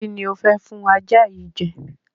Kí ni ò fẹ́ fún ajá yìí jẹ?